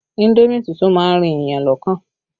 Indomi tútù má ń rin èèyàn lọ́kàn